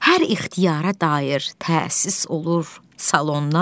Hər ixtiyara dair təsis olur salonlar.